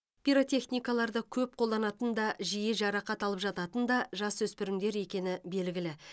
пиротехникаларды көп қолданатын да жиі жарақат алып жататын да жасөспірімдер екені белгілі